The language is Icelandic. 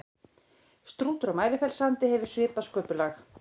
Strútur á Mælifellssandi hefur svipað sköpulag.